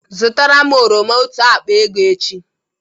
Zụtara m oroma otu akpa ego echi!